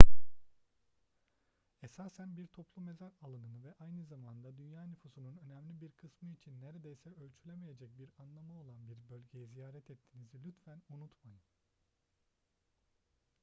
esasen bir toplu mezar alanını ve aynı zamanda dünya nüfusunun önemli bir kısmı için neredeyse ölçülemeyecek bir anlamı olan bir bölgeyi ziyaret ettiğinizi lütfen unutmayın